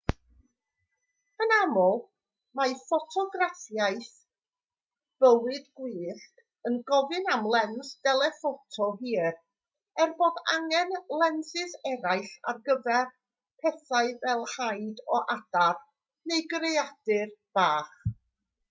yn aml mae ffotograffiaeth bywyd gwyllt yn gofyn am lens deleffoto hir er bod angen lensys eraill ar gyfer pethau fel haid o adar neu greadur bach